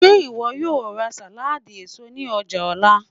Ṣe iwọ yoo ra saladi eso ni ọja nla?